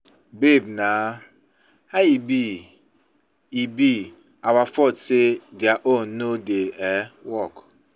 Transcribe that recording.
Babe naa, how e be e be our fault say their own no dey um work.